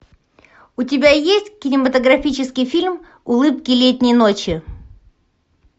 у тебя есть кинематографический фильм улыбки летней ночи